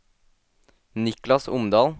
Niklas Omdal